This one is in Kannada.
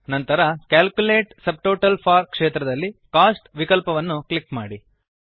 ನಂತರ ಕ್ಯಾಲ್ಕುಲೇಟ್ ಸಬ್ಟೋಟಲ್ಸ್ ಫೋರ್ ಕ್ಷೇತ್ರದಲ್ಲಿ ಕೋಸ್ಟ್ ವಿಕಲ್ಪವನ್ನು ಕ್ಲಿಕ್ ಮಾಡಿ